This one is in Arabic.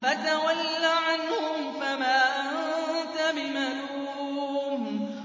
فَتَوَلَّ عَنْهُمْ فَمَا أَنتَ بِمَلُومٍ